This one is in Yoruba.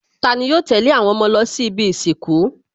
Tani yóò tẹ̀lé àwọn ọmọ lọ sí ibi ìsìnkú?